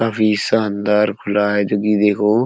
काफी शानदार खुला हुआ है जोकि देखो --